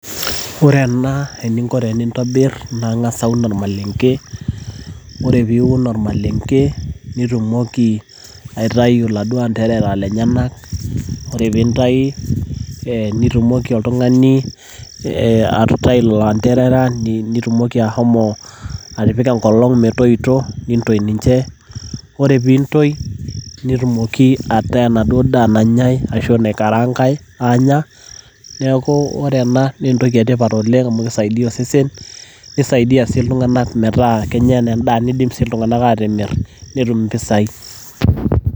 Ore ena eninko tenintobir, naa ing'asa aun ormalenke. Ore piun ormalenke, nitumoki aitayu laduo anterera lenyanak. Ore pintayu, nitumoki oltung'ani atutai lanterera, nitumoki ashomo atipika enkolong' metoito. Nintoi ninche. Ore pintoi, netumoki ataa enaduo daa nanyai, ashu enaikaraankai aanya. Neeku ore ena na entoki etipat oleng' amu kisaidia osesen, nisaidia si iltung'anak metaa kenya endaa. Nidim si iltung'anak atimir netum impisai.